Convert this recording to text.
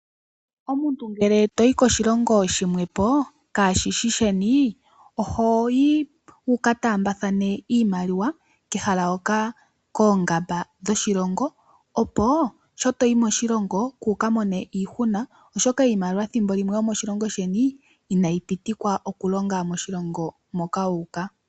Omuntu ngele toyi koshilongo shilwe ,kashishi sheni ohoyi wuka taambathane iimaliwa komahala hoka koongamba dhoshilongo opo sho toyi moshilongo kuuka mone iihuna oshoka iimaliwa ethimbo limwe yomoshilongo sheni inayi pitikwa okulonga moshilongo moka wu uka.